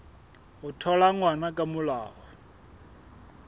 ho thola ngwana ka molao